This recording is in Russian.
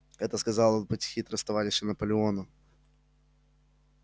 это сказал он быть хитрость товарища наполеону